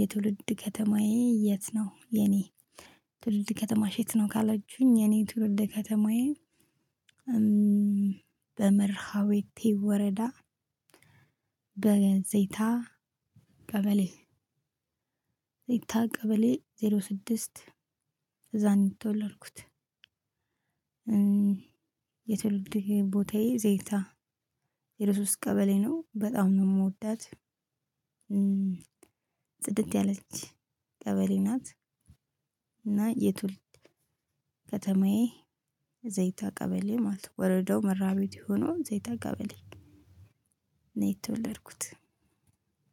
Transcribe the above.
የትውልድ ከተማዬ የት ነው የኔ? የትውልድ ከተማሽ የት ነው ካላችሁኝ? የኔ የትውልድ ከተማዬ በመርሃዎ ወረዳ በገንዘይታ ቀበሌ ዘይታ በቀሌ ዜሮ ስድስት እዛ ነው የተወለድኩት። የትውልድ ቦታዬ ዘይታ ዜሮ ሶስት ቀበሌ ነው። በጣም ነው የምወዳት። ጽድት ያለች ቀበሌ ናት እና የቱልድ ከተማዬ ዘይታ ቀበሌ ማለት ነው። ወረዳው መራቤት የሆነው ዘይታ ቀበሌ ነው የተወለድኩት።